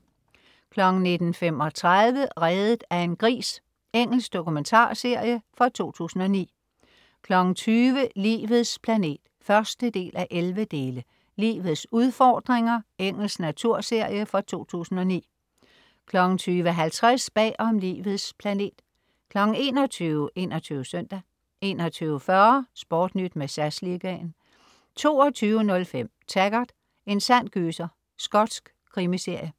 19.35 Reddet af en gris. Engelsk dokumentarserie fra 2009 20.00 Livets planet 1:11. "Livets udfordringer". Engelsk naturserie fra 2009 20.50 Bag om Livets planet 21.00 21 Søndag 21.40 SportNyt med SAS Liga 22.05 Taggart: En sand gyser. Skotsk krimiserie